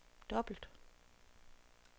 dobbelt